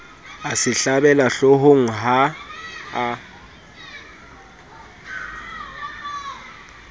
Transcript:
a se hlabela hloohongha a